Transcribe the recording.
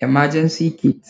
Emergency kid,